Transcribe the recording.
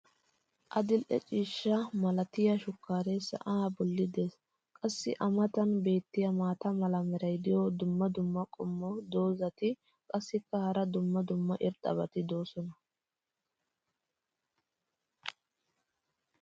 adil'e ciishsha malatiyaa shukkaaree sa"aa boli des. qassi a matan beetiya maata mala meray diyo dumma dumma qommo dozzati qassikka hara dumma dumma irxxabati doosona.